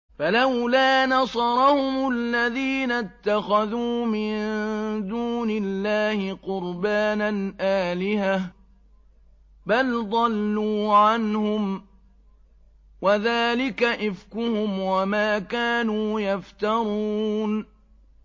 فَلَوْلَا نَصَرَهُمُ الَّذِينَ اتَّخَذُوا مِن دُونِ اللَّهِ قُرْبَانًا آلِهَةً ۖ بَلْ ضَلُّوا عَنْهُمْ ۚ وَذَٰلِكَ إِفْكُهُمْ وَمَا كَانُوا يَفْتَرُونَ